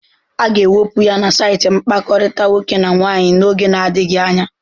A ga-ewepụ ya na saịtị mkpakọrịta nwoke na nwaanyị n'oge adịghị anya.